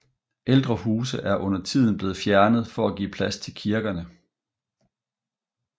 Ældre huse er undertiden blevet fjernet for at give plads til kirkerne